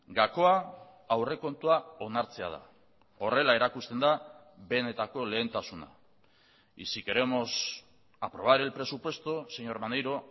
gakoa aurrekontua onartzea da horrela erakusten da benetako lehentasuna y si queremos aprobar el presupuesto señor maneiro